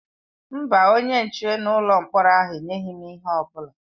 Mba, onye nche n'ụlọ mkpọrọ ahụ enyeghị m ihe ọ bụla.